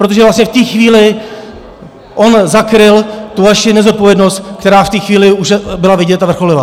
Protože vlastně v té chvíli on zakryl tu vaši nezodpovědnost, která v té chvíli už byla vidět a vrcholila.